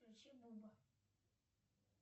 включи буба